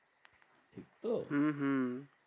তো হম হম